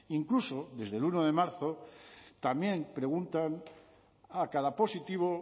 incluso desde el uno de marzo también preguntan a cada positivo